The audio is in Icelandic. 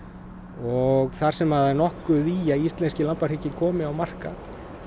og þar sem það er nokkuð í að íslenskir komi á markað